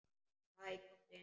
Hæ, komdu inn.